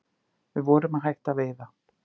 Við vorum að hætta að veiða